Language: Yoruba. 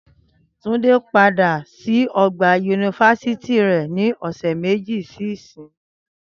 Túndé á padà sí ọgbà yunifásítì rẹ̀ ní ọ̀sẹ̀ méjì sí ìsinyìí